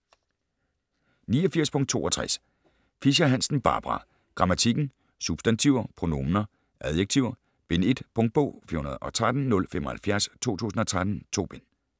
89.62 Fischer-Hansen, Barbara: Grammatikken: Substantiver, pronominer, adjektiver: Bind 1 Punktbog 413075 2013. 2 bind.